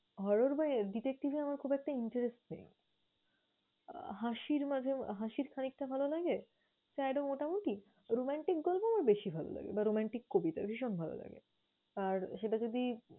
Horror বা আহ detective এ আমার খুব একটা interest নেই। আহ হাসির মাঝে হাসির খানিকটা ভালো লাগে, sad ও মোটামুটি, romantic গল্প আমার বেশি ভালো লাগে বা romantic কবিতা ভীষণ ভালো লাগে। আর সেটা যদি